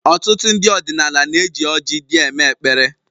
Ọtụtụ ndị ọdịnala na-eji ọrji dị eme-ekpere